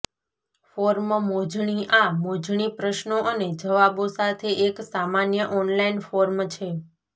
form મોજણી આ મોજણી પ્રશ્નો અને જવાબો સાથે એક સામાન્ય ઓનલાઇન ફોર્મ છે